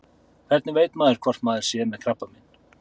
Hvernig veit maður hvort maður sé með krabbamein?